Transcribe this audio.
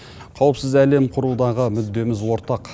қауіпсіз әлем құрудағы мүддеміз ортақ